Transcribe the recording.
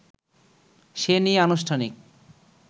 সে নিয়ে আনুষ্ঠানিক